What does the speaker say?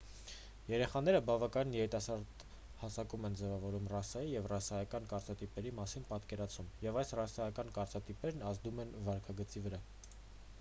երեխաները բավականին երիտասարդ հասակում են ձևավորում ռասայի և ռասայական կարծրատիպերի մասին պատկերացում և այս ռասայական կարծրատիպերն ազդում են վարքագծի վրա